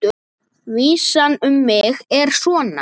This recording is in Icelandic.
Vísan um mig er svona: